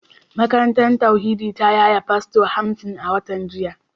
Makarantar tauhidi ta yaye fasto hamsin a watan jiya